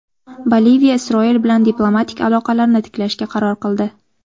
Boliviya Isroil bilan diplomatik aloqalarni tiklashga qaror qildi.